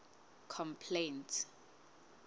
complaints